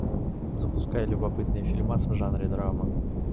запускай любопытный фильмас в жанре драма